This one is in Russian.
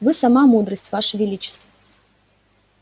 вы сама мудрость ваше величество